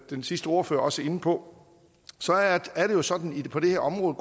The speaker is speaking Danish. den sidste ordfører også inde på er det jo sådan på det her område